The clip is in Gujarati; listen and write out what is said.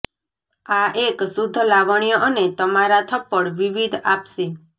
આ એક શુદ્ધ લાવણ્ય અને તમારા થપ્પડ વિવિધ આપશે